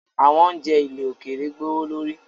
Awọn ounjẹ ilẹ̀ òkèèrè gbowolori